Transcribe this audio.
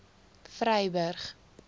vryburg